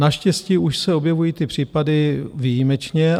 Naštěstí už se objevují tyto případy výjimečně.